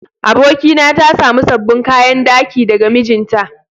Abokina ta samu sabbin kayan daki daga mijinta.